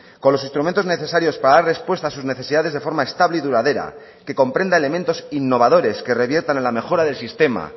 con los instrumentos necesarios para dar respuesta a sus necesidades de forma estable y duradera que comprenda elementos innovadores que reviertan en la mejora del sistema